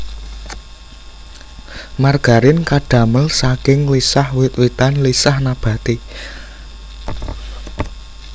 Margarin kadamel saking lisah wit witan lisah nabati